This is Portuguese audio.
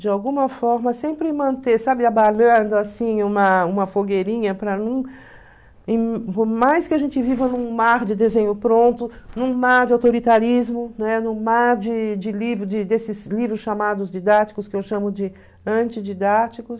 de alguma forma, sempre manter, sabe, abanando assim uma fogueirinha, por mais que a gente viva num mar de desenho pronto, num mar de autoritarismo, né, num mar de de desses livros chamados didáticos, que eu chamo de antididáticos,